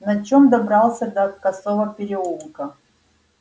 на чём добрался до косого переулка